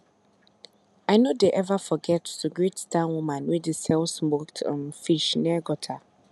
i no dey ever forget to greet that woman wey dey sell smoked um fish near gutter